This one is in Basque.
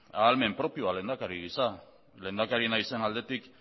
ahalmen propioa lehendakari gisa lehendakari nahi izan aldetik